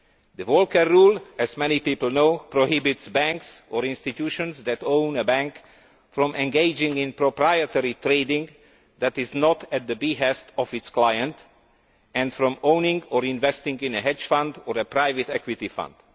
The Volcker rule, as many people know, prohibits banks, or institutions that own a bank, from engaging in proprietary trading that is not at the behest of their clients, and from owning or investing in a hedge fund or a private equity fund.